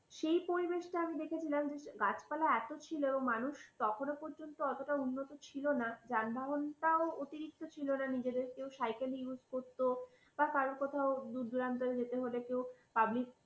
সেই পরিবেশটা আমি দেখেছিলাম গাছপালা এত ছিল মানুষ তখনো পর্যন্ত অতটা উন্নত ছিল না যানবাহনটাও অতিরিক্ত ছিলনা নিজেদেরকেও সাইকেল use করতো বা কারোর কোথাও দূরদূরান্তে যেতে হলে কেউ public